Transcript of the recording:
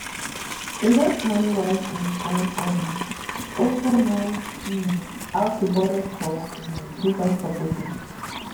invest money wisely and um also know um how to budget for um different purposes